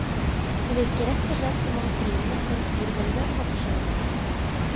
Det virker rett og slett som om trinnene for girvelgeren har forskjøvet seg.